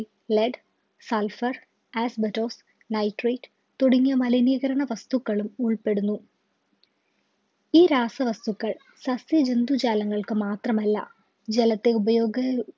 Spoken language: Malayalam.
LedsulphurasbestosNitrate തുടങ്ങിയ മലിനീകരണ വസ്‌തുക്കളും ഉൾപ്പെടുന്നു ഈ രാസവസ്‌തുക്കൾ സസ്യജന്തുജാലങ്ങൾക്ക് മാത്രമല്ല ജലത്തെ ഉപയോഗ